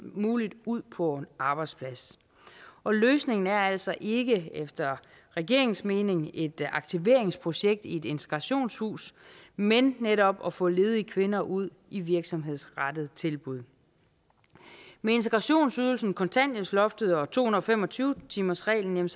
muligt ud på en arbejdsplads og løsningen er altså ikke efter regeringens mening et aktiveringsprojekt i et integrationshus men netop at få ledige kvinder ud i virksomhedsrettede tilbud med integrationsydelsen kontanthjælpsloftet og to hundrede og fem og tyve timersreglen